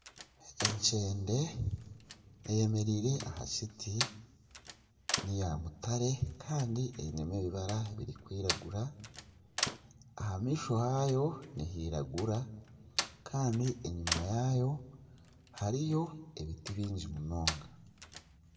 Ekyende eyemereire aha kiti ya mutare kandi einemu ebibara birikwiragura aha maisho haayo nihiragura kandi enyuma yaayo hariyo ebiti bingi munonga.